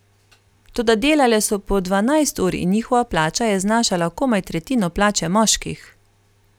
Toda delale so po dvanajst ur in njihova plača je znašala komaj tretjino plače moških.